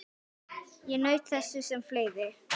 Ég naut þess sem fleiri.